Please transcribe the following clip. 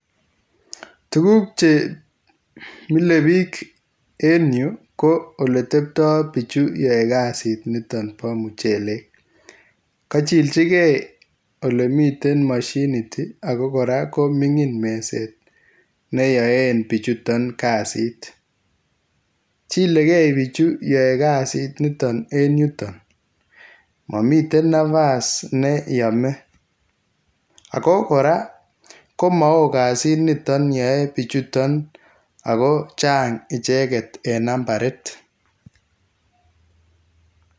Tuguuk che milee biik en Yu ko ole teptai bichutoon yae kasiit nitoon bo muchelek kachichilgei ole miten mashiniit ii ole kora ko mingiin mezeet neyaen bichutoon kasiit chilegei bichutoon yae kazit en yutoon mamiten nafaas ne yame ago kora komawooh kasiit nitoon yae bichutoon ago chaang ichegeet en nambariit.